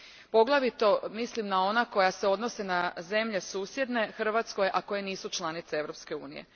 Poglavito mislim na ona koja se odnose na zemlje susjedne Hrvatskoj, a koje nisu članice Europske unije.